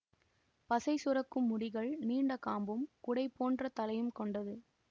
பசை சுரக்கும் முடிகள் நீண்ட காம்பும் குடை போன்ற தலையும் கொண்டது